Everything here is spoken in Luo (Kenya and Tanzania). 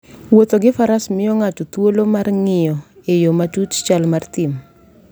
Wuotho gi Faras miyo ng'ato thuolo mar ng'iyo e yo matut chal mar thim.